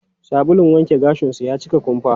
Sabulun wanke gashin su ya cika kumfa.